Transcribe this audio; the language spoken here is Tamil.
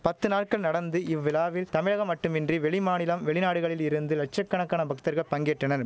பத்து நாள்கள் நடந்து இவ்விழாவில் தமிழகம் மட்டுமின்றி வெளி மாநிலம் வெளிநாடுகளில் இருந்து லட்ச கணக்கான பக்தர்கள் பங்கேற்றனர்